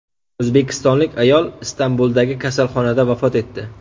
O‘zbekistonlik ayol Istanbuldagi kasalxonada vafot etdi.